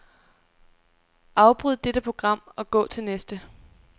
Afbryd dette program og gå til næste.